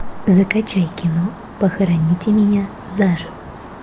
закачай кино похороните меня заживо